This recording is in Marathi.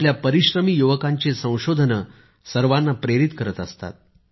आपल्या परिश्रमी युवकांची संशोधने सर्वाना प्रेरित करत असतात